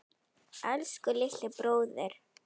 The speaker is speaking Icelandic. Elsku litli bróðir.